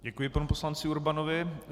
Děkuji panu poslanci Urbanovi.